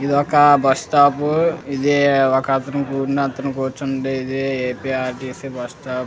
ఇదొక bus stop. ఇది ఒకతను కూర్చుండేది ఏ_పి_ఆర్_టి_సి బస్సు స్టాండ్ --